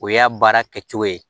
O y'a baara kɛcogo ye